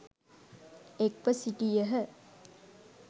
එක්ව සිටියහ.